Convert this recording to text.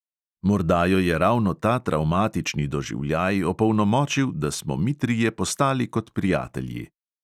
Morda jo je ravno ta travmatični doživljaj opolnomočil, da smo mi trije postali kot prijatelji.